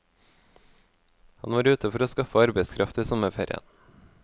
Han var ute for å skaffe arbeidskraft i sommerferien.